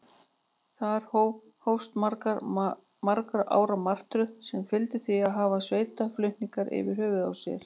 Þar með hófst margra ára martröð, sem fyldi því að hafa sveitarflutninga yfir höfði sér.